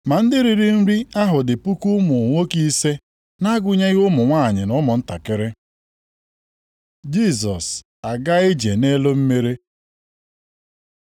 Ma ndị riri nri ahụ dị puku ụmụ nwoke ise, nʼagụnyeghị ụmụ nwanyị, na ụmụntakịrị. Jisọs agaa ije nʼelu mmiri